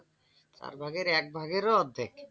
চার ভাগের এক ভাগ এর ও অর্ধেক।